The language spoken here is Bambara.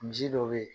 Misi dɔ be yen